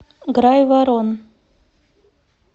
грайворон